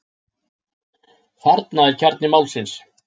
Þarna er kjarni málsins.